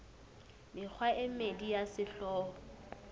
mekgwa e mmedi ya sehlooho